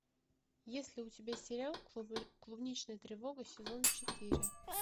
есть ли у тебя сериал клубничная тревога сезон четыре